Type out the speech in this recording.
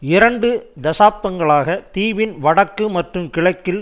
இரண்டு தசாப்தங்களாக தீவின் வடக்கு மற்றும் கிழக்கில்